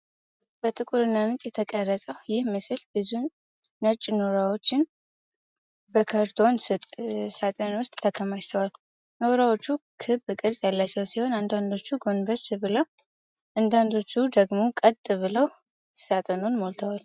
በጥቁርና ነጭ የተቀረጸው ይህ ምስል ብዙ ነጭ ኖራዎችን በካርቶን ሳጥን ውስጥ ተከማችተዋል። ኖራዎቹ ክብ ቅርጽ ያላቸው ሲሆን፣ አንዳንዶቹ ጎንበስ ብለው አንዳንዶቹ ደግሞ ቀጥ ብለው ሳጥኑን ሞልተዋል።